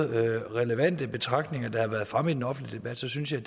relevante betragtninger der har været fremme i den offentlige debat så synes jeg